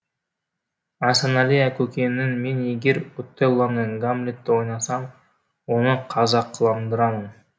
асанәлі көкеңнің мен егер отеллоны гамлетті ойнасам оны қазақыландырамын